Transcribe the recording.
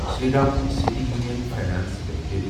Shriram city union finance limited